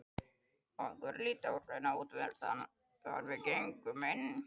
Okkur varð litið á hraunaða útveggina þegar við gengum inn.